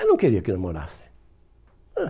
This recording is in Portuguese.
Ela não queria que namorasse. Ãh